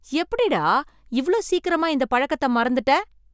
எப்படிடா இவ்ளோ சீக்கிரமா இந்த பழக்கத்தை மறந்திட்ட!